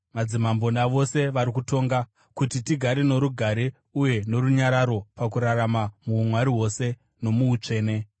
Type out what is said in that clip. madzimambo navose vari kutonga, kuti tigare norugare uye norunyararo pakurarama muumwari hwose nomuutsvene.